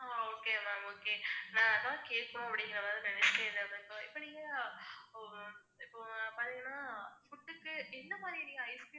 ஹம் okay ma'am okay நான் அதான் கேக்கணும் அப்படிங்கற மாதிரி நினைச்சுட்டே இருந்தேன் ma'am so இப்ப நீங்க அஹ் இப்ப பாத்தீங்கன்னா food க்கு எந்த மாதிரி நீங்க icecream